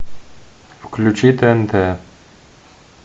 включи тнт